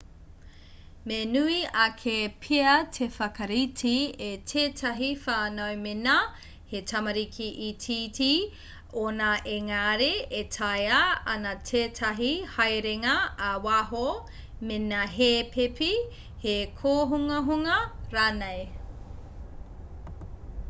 me nui ake pea te whakarite a tētahi whānau mēnā he tamariki itiiti ōnā ēngari e tāea ana tētahi haerenga ā-waho mēnā he pēpi he kōhungahunga rānei